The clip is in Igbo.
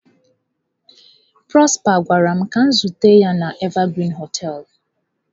Prosper gwara m ka m zute ya na Evergreen hoteelu.